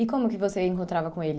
E como que você encontrava com eles?